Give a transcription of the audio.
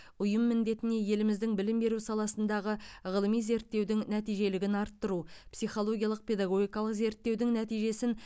ұйым міндетіне еліміздің білім беру саласындағы ғылыми зерттеудің нәтижелігін арттыру психологиялық педагогикалық зерттеудің нәтижесін